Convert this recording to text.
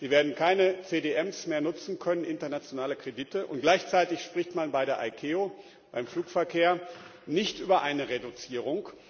Sie werden keine CDMs mehr nutzen können internationale Kredite und gleichzeitig spricht man bei der ICAO, beim Flugverkehr, nicht über eine Reduzierung.